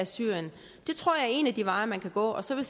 syrien det tror jeg er en af de veje man kan gå så vil